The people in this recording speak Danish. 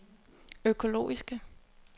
økologiske